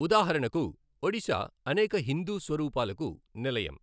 ఉదాహరణకు, ఒడిశా అనేక హిందూ స్వరూపాలకు నిలయం.